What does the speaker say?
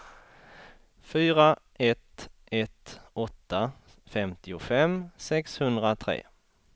fyra ett ett åtta femtiofem sexhundratre